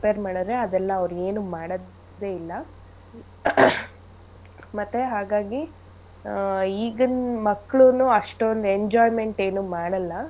Compare ಮಾಡದ್ರೆ ಅದೆಲ್ಲಾ ಅವ್ರು ಏನು ಮಾಡದೆ ಇಲ್ಲ ಮತ್ತೇ ಹಾಗಾಗಿ ಅಹ್ ಈಗಿನ್ ಮಕ್ಳುನು ಅಷ್ಟೊಂದ್ enjoyment ಏನು ಮಾಡಲ್ಲ.